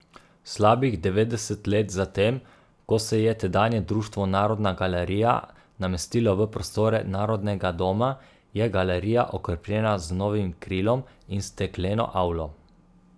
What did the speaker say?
Slabih devetdeset let zatem, ko se je tedanje Društvo Narodna galerija namestilo v prostore Narodnega doma, je galerija okrepljena z novim krilom in stekleno avlo.